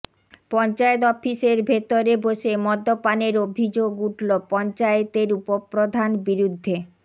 পঞ্চায়েত অফিসের ভেতরে বসে মদ্যপানের অভিযোগ উঠল পঞ্চায়েতের উপপ্রধান বিরুদ্ধে